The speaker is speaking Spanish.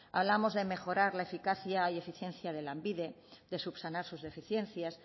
hablamos de mejorar la eficacia y eficiencia de lanbide de subsanar sus deficiencias